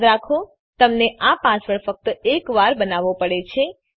યાદ રાખો તમને આ પાસવર્ડ ફક્ત એક વાર બનાવવો પડે છે